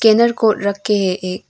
Scanner code रखे है एक।